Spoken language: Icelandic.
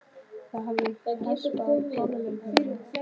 Það þarf að hespa af hárlagningunni.